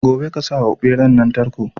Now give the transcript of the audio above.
Gobe ƙasawa beran nan tarko